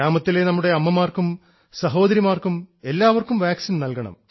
ഗ്രാമത്തിലെ നമ്മുടെ അമ്മമാർക്കും സഹോദരിമാർക്കും എല്ലാവർക്കും വാക്സിൻ നൽകണം